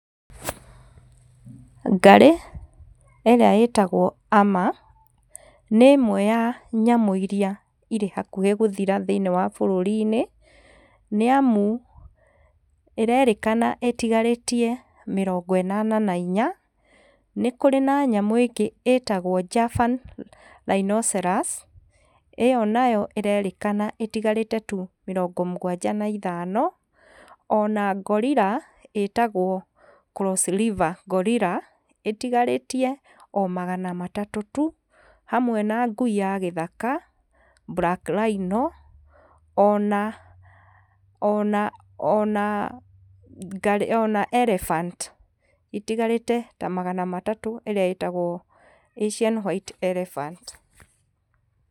Ngarĩ ĩrĩa ĩtagwo ama nĩ ĩmwe ya nyamũ iria irĩ hakuhĩ gũthira thĩĩnĩe wa bũrũri-inĩ nĩamu ĩrerĩkana ĩtigarĩtie mĩrongo ĩnana na inya nĩkũrĩ na nyamũ ĩngĩ ĩtagwo Javan rhinoceros ĩyo nayo ĩrerĩkana ĩtigarĩte tu mĩrongo mũgwanja na ithano ona gorilla ĩtagwo crossriver gorilla ĩtigarĩtie o magana matatũ tu hamwe na ngui ya gĩthaka, black rhino ona elephant itigarĩte ta magana matatũ ĩrĩa ĩtagwo asian white elephant